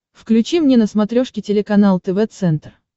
включи мне на смотрешке телеканал тв центр